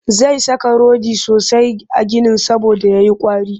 Zai saka rodi sosai a ginin saboda ya yi ƙwari